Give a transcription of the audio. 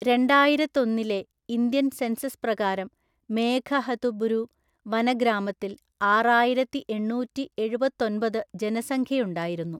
രണ്ടായിരത്തൊന്നിലെ Indian census പ്രകാരം, മേഘഹതുബുരു വനഗ്രാമത്തിൽആറായിരത്തിഎണ്ണൂറ്റിഎഴുപത്തൊന്‍പത് ജനസംഖ്യയുണ്ടായിരുന്നു.